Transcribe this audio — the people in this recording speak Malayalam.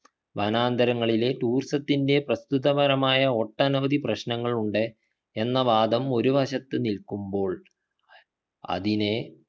വനാന്തരങ്ങളിലെ tourism ത്തിൻ്റെ പ്രസ്തുത പരമായ ഒട്ടനവധി പ്രശ്നങ്ങളുണ്ടെ എന്ന വാദം ഒരു വശത്തു നിൽക്കുമ്പോൾ അതിനെ